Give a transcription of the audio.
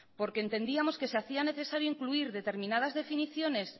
entendíamos que se hacía necesario incluir determinadas definiciones